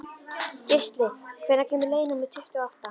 Geisli, hvenær kemur leið númer tuttugu og átta?